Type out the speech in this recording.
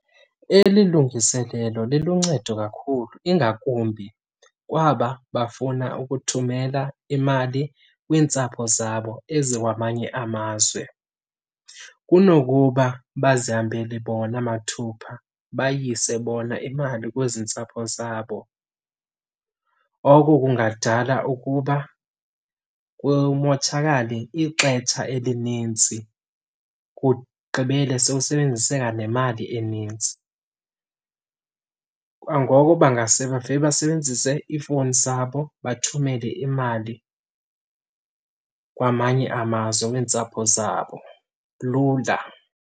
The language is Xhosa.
Eli lungiselelo liluncedo kakhulu, ingakumbi kwaba bafuna ukuthumela imali kwiintsapho zabo ezikwamanye amazwe kunokuba bazihambele bona mathupha bayise bona imali kwezi ntsapho zabo. Oko kungadala ukuba kumotshakale ixetsha elinintsi, kugqibele sowusebenzise kanemali eninzi. Kwangoko bangase bavele basebenzise iifowuni zabo, bathumele imali kwamanye amazwe, kwiintsapho zabo lula.